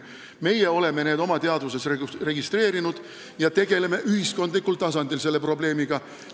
Meie oleme need oma teadvuses registreerinud ja tegeleme ühiskondlikul tasandil selle probleemiga.